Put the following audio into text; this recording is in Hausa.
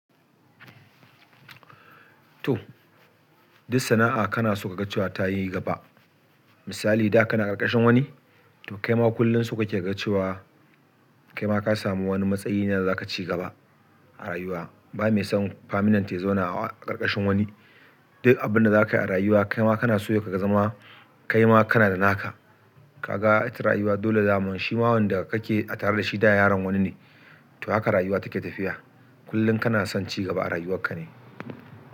To, duk sana'a kana so ka ga cewa ta yi gaba. Misali da kana ƙarƙashin wani, to kaima kullum so kake kaga cewa, kaima ka samu wani matsayi ne da za ka ci gaba a rayuwa. Ba mai son faminant ya zauna a ƙarƙashin wani. Duk abinda zakayi a rayuwa kaima kanaso ya kazama kaima kana da naka. Ka ga ita rayuwa dole daman shi ma wanda kake a tare da shi da yaron wani ne. To haka rayuwa take tafiya. Kullum kana son ci gaba a rayuwarka ne.